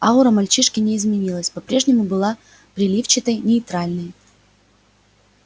аура мальчишки не изменилась по-прежнему была переливчатой нейтральной